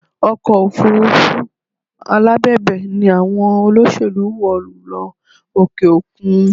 Ọkọ̀ òfurufú alábẹ̀bẹ̀ ni àwọn olóṣèlú wọ̀ lọ òkè òkun